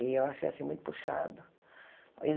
E eu acho, assim, muito puxado.